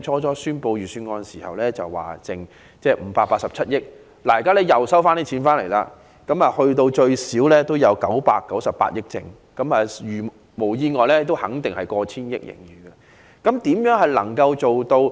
在宣布預算案時，財政司司長預計盈餘為587億元，現在政府收入較預期為多，盈餘最少有998億元，如無意外，盈餘甚至過千億元。